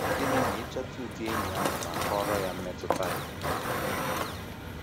Gịnị ma ị chọta ụdị enyi ahụ ma kọọrọ ya mmetụta gị?